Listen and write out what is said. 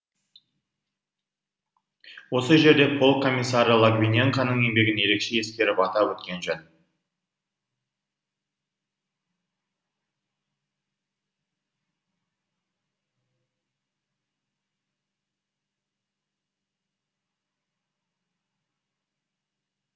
осы жерде полк комиссары логвиненконың еңбегін ерекше ескеріп атап өткен жөн